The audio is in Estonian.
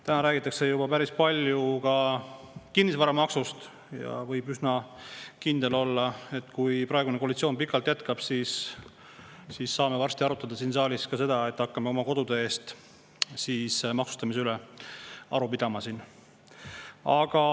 Täna räägitakse juba päris palju ka kinnisvaramaksust ja võib üsna kindel olla, et kui praegune koalitsioon pikalt jätkab, siis saame varsti siin saalis arutada ka seda, et hakkame oma kodude maksustamise üle aru pidama.